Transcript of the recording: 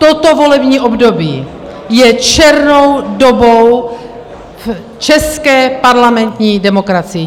Toto volební období je černou dobou české parlamentní demokracie.